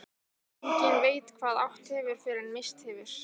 Enginn veit hvað átt hefur fyrr en misst hefur.